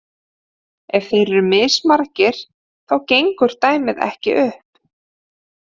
Ef þeir eru mismargir þá gengur dæmið ekki upp.